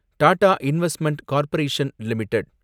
Tata Investment Corporation limited